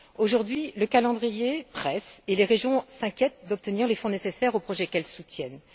Aujourd'hui, le calendrier presse et les régions s'inquiètent d'obtenir les fonds nécessaires aux projets qu'elles soutiennent.